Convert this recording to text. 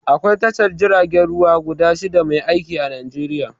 Aƙwai tashar jiragen ruwa guda shida mai aiƙi a Najeriƴa.